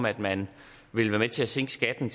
at man vil være med til at sænke skatten